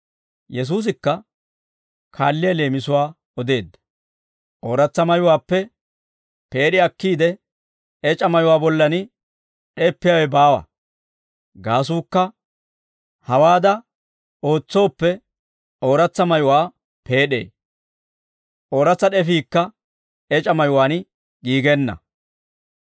Yesuusikka kaalliyaa leemisuwaa odeedda: «Ooratsa mayuwaappe peed'i akkiide ec'a mayuwaa bollan d'eppiyaawe baawa; gaasuukka hawaada ootsooppe ooratsa mayuwaa peed'ee; ooratsa d'efiikka ec'a mayuwaan giigenna.